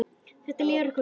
Þá líður okkur vel.